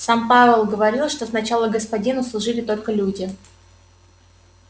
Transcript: сам пауэлл говорил что сначала господину служили только люди